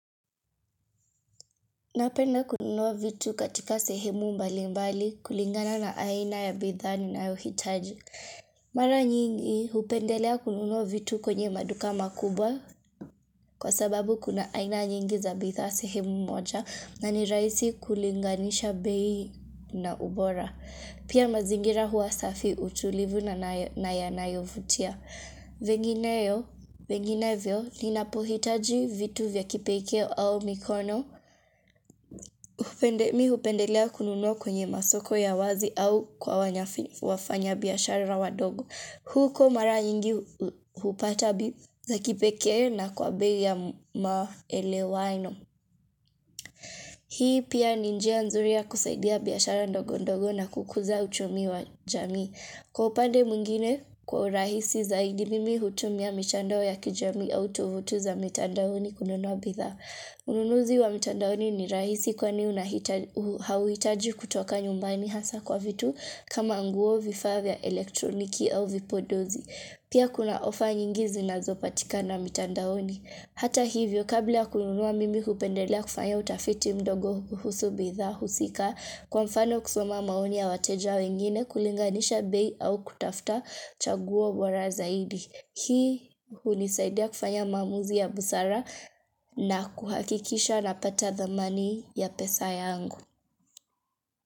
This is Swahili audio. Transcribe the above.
Napenda kununua vitu katika sehemu mbali mbali kulingana na aina ya bidhaa ninayohitaji. Mara nyingi upendelea kununua vitu kwenye maduka makubwa kwa sababu kuna aina nyingi za bidhaa sehemu mmoja na nirahisi kulinganisha bei na ubora. Pia mazingira huwa safi utulivu na naya yanayovutia. Vengineyo, venginevyo, ninapohitaji vitu vya kipeikeo au mikono. Upende mi upendelea kununua kwenye masoko ya wazi au kwa wanya wafanya biyashara wa ndogo huko mara nyingi hupata bi za kipekee na kwa bei ya maelewano Hii pia ni njia nzuri ya kusaidia biyashara ndogo ndogo na kukuza uchumi wa jamii Kwa upande mwingine kwa rahisi zaidi mimi hutumia michando ya kijamii au tovuti za mitandani kununua bidhaa Ununuzi wa mitandaoni ni rahisi kwa ni unahitaji hauhitaji kutoka nyumbani hasa kwa vitu kama nguo vifaa vya elektroniki au vipodozi. Pia kuna ofa nyingi zina lzopatikana mitandaoni. Hata hivyo, kabla ya kununua mimi kupendelea kufanya utafiti mdogo kuhusu bidhaa husika, kwa mfano kusoma maoni ya wateja wengine kulinganisha bei au kutafta chaguo bora zaidi. Hii hunisaidia kufanya maamuzi ya busara na kuhakikisha napata dhamani ya pesa ya angu.